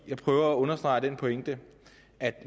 jeg prøver at understrege den pointe at